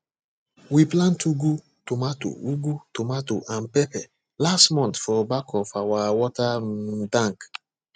we plant ugu tomato ugu tomato and pepper last month for back of our water um tank